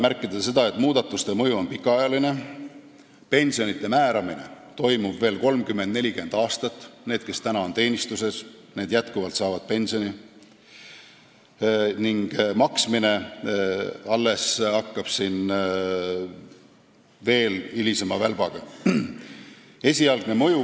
Märkida tuleb, et muudatuste mõju on pikaajaline, neid pensione määratakse veel 30–40 aastat, sest need, kes täna on teenistuses, hakkavad ikkagi seda pensioni saama, ning nende pensionide maksmine kestab veel kauem.